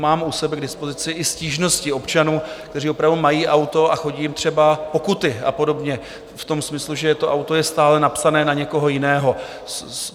Mám u sebe k dispozici i stížnosti občanů, kteří opravdu mají auto a chodí jim třeba pokuty a podobně v tom smyslu, že je to auto stále napsané na někoho jiného.